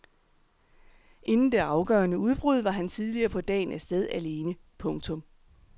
Inden det afgørende udbrud var han tidligere på dagen af sted alene. punktum